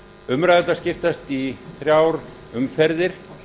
umræðurnar skiptast í þrjár umferðir